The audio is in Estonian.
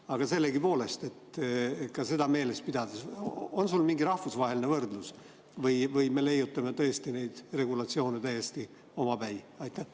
Aga sellegipoolest, ka seda meeles pidades, on sul mingi rahvusvaheline võrdlus või me leiutame tõesti neid regulatsioone täiesti omapäi?